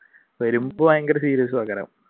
വരുമ്പ ഭയങ്കര serious